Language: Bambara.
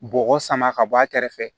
Bɔgɔ sama ka bɔ a kɛrɛfɛ